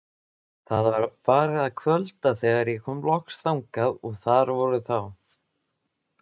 Það var farið að kvölda þegar ég kom loks þangað og þar voru þá